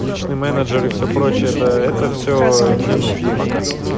личный менеджер и все прочее это это все ээ не нужно пока